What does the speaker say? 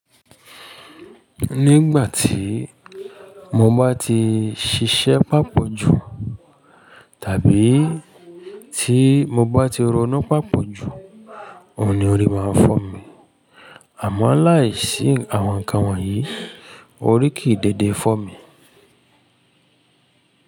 Nígbà tí mo bá ti ṣiṣẹ́ pàpọ̀ jù tàbí tí mo bá ti roná pàpọ̀ jù, òun ni orí máa ń fọ́ mi. Àmọ́ láìsí àwọn nǹkan wọ̀nyí, orí kìí dẹ̀dẹ̀ fọ́ mi.